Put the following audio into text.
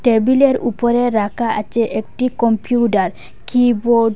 টেবিলের উপরে রাখা আছে একটি কম্পিউটার কিবোর্ড ।